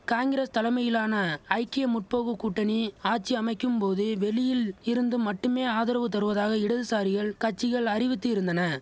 காங்கிரஸ் தலமையிலான ஐக்கிய முற்போக்கு கூட்டணி ஆட்சி அமைக்கும் போது வெளியில் இருந்து மட்டுமே ஆதரவு தருவதாக இடதுசாரிகள் கட்சிகள் அறிவித்து இருந்தன